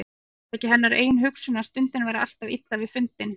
Var það ekki hennar eigin hugsun, að stundin væri alltaf illa til fundin.